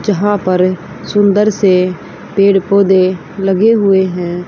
जहां पर सुंदर से पेड़ पौधे लगे हुए हैं।